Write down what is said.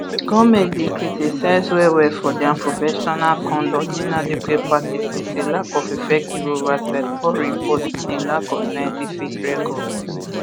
goment bin criticise wellwell for dia unprofessional conduct inadequate practices a lack of effective oversight poor reports and a lack of scientific rigour